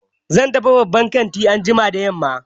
Zan tafi babban kantin anjima da yamma.